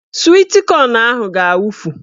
Swit kọn ahụ ga-awufu